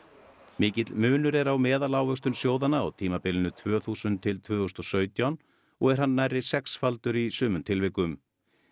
mikill munur er á meðalávöxtun sjóðanna á tímabilinu tvö þúsund til tvö þúsund og sautján og er hann nærri sexfaldur í sumum tilvikum